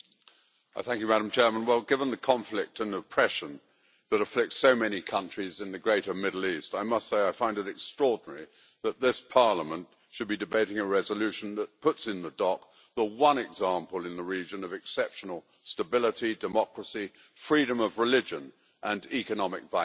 Madam President, given the conflict and oppression that afflicts so many countries in the greater Middle East, I must say I find it extraordinary that this Parliament should be debating a resolution that puts in the dock the one example in the region of exceptional stability, democracy, freedom of religion and economic vitality.